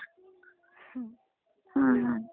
हम्म.